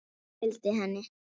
Amma fylgdi henni.